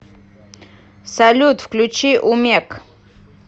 салют включи умек